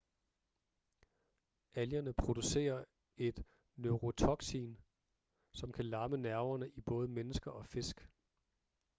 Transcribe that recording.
algerne producerer et neurotoksin som kan lamme nerverne i både mennesker og fisk